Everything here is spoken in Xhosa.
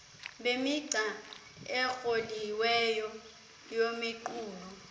bemigca ekroliweyo yemiqulu